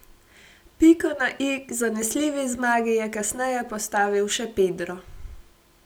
Piko na i k zanesljivi zmagi je kasneje postavil še Pedro.